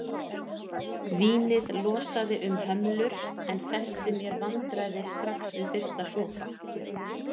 Vínið losaði um hömlur en festi mér vandræði strax við fyrsta sopa.